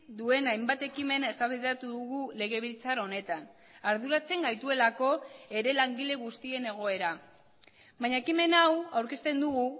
duen hainbat ekimen eztabaidatu dugu legebiltzar honetan arduratzen gaituelako ere langile guztien egoera baina ekimen hau aurkezten dugu